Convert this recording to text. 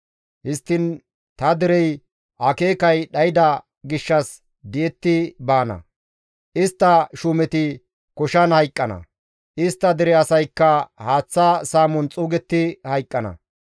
Histtiin ta Derey akeeka dhayda gishshas di7etti baana; istta shuumeti koshan hayqqana; istta dere asaykka haaththa saamon xuugetti hayqqana.